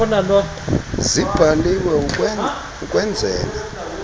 zibhaliwe ukwen zela